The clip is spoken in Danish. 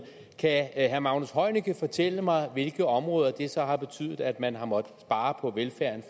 kan herre magnus heunicke fortælle mig på hvilke områder det så har betydet at man har måttet spare på velfærden